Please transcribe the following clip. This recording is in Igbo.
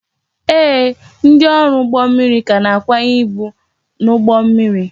Ee, ndị ọrụ ụgbọ mmiri ka na-akwanye ibu n'ụgbọ mmiri